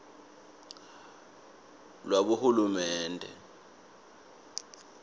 lwabohulumende